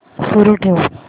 सुरू ठेव